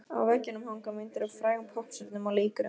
Á veggjunum hanga myndir af frægum poppstjörnum og leikurum.